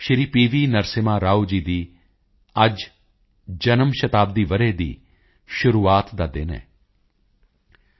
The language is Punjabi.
ਨਰਸਿਮ੍ਹਾ ਰਾਓ ਜੀ ਦੀ ਅੱਜ ਜਨਮ ਸ਼ਤਾਬਦੀ ਵਰ੍ਹੇ ਦੀ ਸ਼ੁਰੂਆਤ ਦਾ ਦਿਨ ਹੈ ਜਦੋਂ ਅਸੀਂ ਪੀ